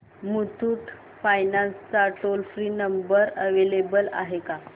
Muthoot finance चा toll free number available आहे का